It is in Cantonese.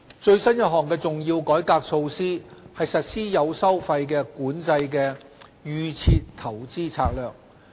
最新一項的重要改革措施是實施有收費管制的"預設投資策略"。